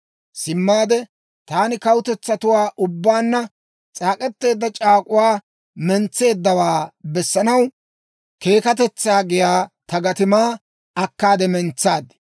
Simmaade taani kawutetsatuwaa ubbaanna c'aak'k'eteedda c'aak'uwaa mentseeddawaa bessanaw Keekkatetsaa giyaa ta gatimaa akkaade mentsaad.